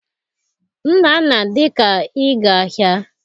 Nnanna dị ka ịga ahịa.